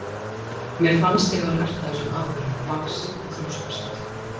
Mér fannst ég hafa lært af þessum atburðum, vaxið og þroskast.